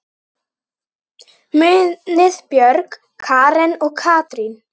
Munið Björg, Karen og Katrín.